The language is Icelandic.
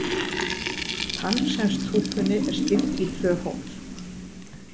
Tannkremstúpunni er skipt í tvö hólf.